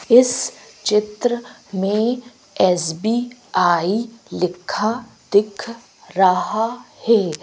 इस चित्र में एस_बी_आई लिखा दिख रहा है।